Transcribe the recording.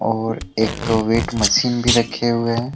और एक अ वेट मशीन भी रखे हुए है।